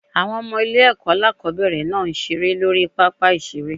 Àwọn Ọmọ ilé èkó alákòóbèrè náà n seré lórí I pápá ìseré